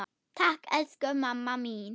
Takk, elsku mamma mín.